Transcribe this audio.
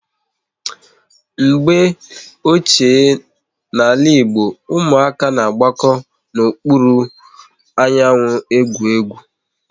Mgbe ochie n'ala Igbo, ụmụaka na-agbako n'okpuru anyanwụ ị gwụ egwu